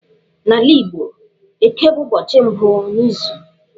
N'ala Igbo, Eke bụ ụbọchị mbụ n'izu.